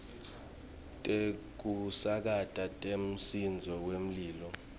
tekusakata temsindvo wemlilo